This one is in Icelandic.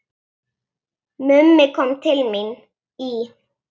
Mummi kom til mín í